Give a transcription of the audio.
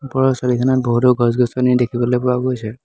ওপৰৰ ছবিখনত বহুতো গছ গছনি দেখিবলৈ পোৱা গৈছে।